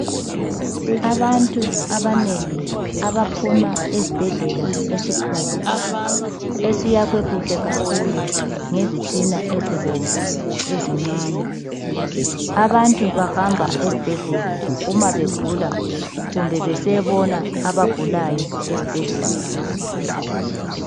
Abantu abanengi abaphuma esibhedlela esikhulu esakhiwe kuhle kakhulu ngezitina ezibomvu ezincane abantu bahamba ezibhedlela uma begula kumbe besiyabona abagulayo ezibhedlela.